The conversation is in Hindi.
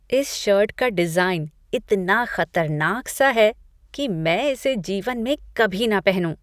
इस शर्ट का डिज़ाइन इतना खतरनाक सा है कि मैं इसे जीवन में कभी ना पहनूँ।